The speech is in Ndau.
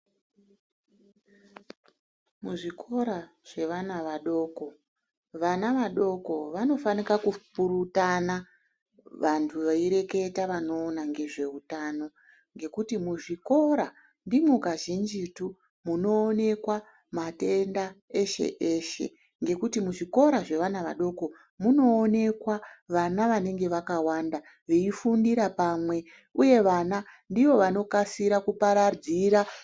Muzvikora zvevana vadoko, vana vadoko vanofanika kupurutana vanthu veireketa vanoona ngezveutano ngekuti muzvikora ndimo kazhinjitu munoonekwa matenda eshe eshe ngekuti muzvikora zvevana vadoko munoonekwa vana vanenge vakawanda veifundira pamwe uye vana ndivo vanokasira kuparadzira....